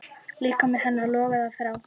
Líkami hennar logaði af þrá.